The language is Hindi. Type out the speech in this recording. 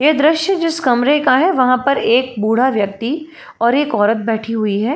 यह दृश्य जिस कमरे का है। वहां पर एक बूढ़ा व्यक्ति और एक औरत बैठी हुई है।